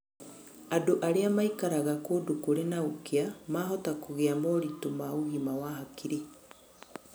Andũ arĩa maikaraga kũndũ kũrĩ na ũkĩa mahota kũgĩa moritũ ma ũgima wa hakiri.